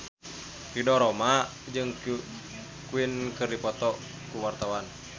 Ridho Roma jeung Queen keur dipoto ku wartawan